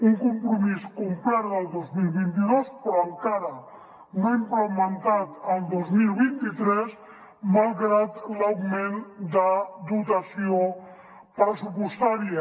un compromís complert el dos mil vint dos però encara no implementat el dos mil vint tres malgrat l’augment de dotació pressupostària